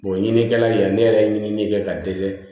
ɲinikɛla in ne yɛrɛ ye ɲinini kɛ ka dɛsɛ